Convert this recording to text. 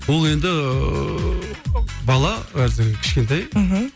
ол енді бала қазір кішкентай мхм